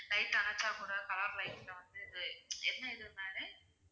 light அணைச்சா கூட color light ல வந்து இது என்ன